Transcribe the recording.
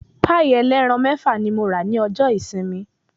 Pàì ẹlẹ́ran mẹ́fà ní mo rà ní ọjọ́ ìsinmi.